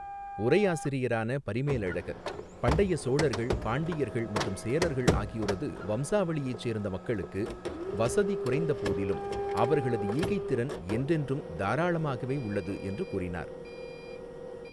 உரையாசிரியரான பரிமேலழகர் 'பண்டைய சோழர்கள், பாண்டியர்கள் மற்றும் சேரர்கள் ஆகியோரது வம்சாவளியைச் சேர்ந்த மக்களுக்கு வசதி குறைந்த போதிலும் அவர்களது ஈகைத் திறன் என்றென்றும் தாராளமாகவே உள்ளது' என்று கூறினார்.